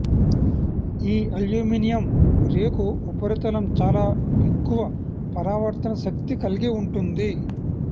ఈ అల్యూమినియమ్ రేకు ఉపరితలం చాలా ఎక్కువ పరావర్తన శక్తి కల్గి ఉంటుంది